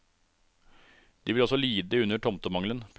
De vil også lide under tomtemangelen. punktum